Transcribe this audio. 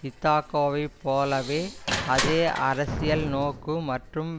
இதொகா வைப் போலவே அதே அரசியல் நோக்கு மற்றும்